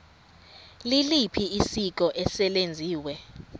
liliphi isiko eselenziwe